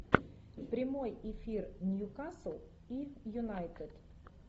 прямой эфир ньюкасл и юнайтед